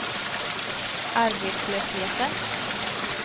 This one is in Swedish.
arbetslösheten